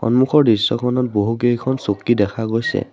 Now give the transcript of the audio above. সন্মুখৰ দৃশ্যখনত বহুকেইখন চকী দেখা গৈছে।